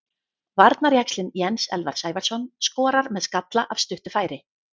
Varnarjaxlinn Jens Elvar Sævarsson skorar með skalla af stuttu færi.